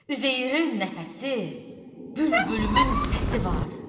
Üzeyirin nəfəsi, bülbülümün səsi var.